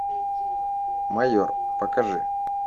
майор покажи